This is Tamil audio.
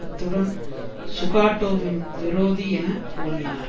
அத்துடன் சுகாட்டோவின் விரோதி என புகழ்ந்தனர்